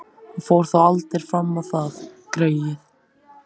Hann fór þó aldrei fram á það, greyið.